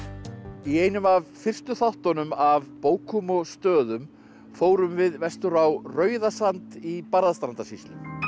í einum af fyrstu þáttunum af bókum og stöðum fórum við vestur á Rauðasand í Barðastrandasýslu